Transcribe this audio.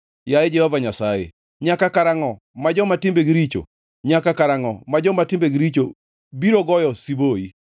Yaye Jehova Nyasaye, nyaka karangʼo ma joma timbegi richo, nyaka karangʼo ma joma timbegi richo biro goyo siboi?